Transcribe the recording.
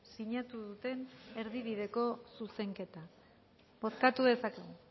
sinatu duten erdibideko zuzenketa bozkatu dezakegu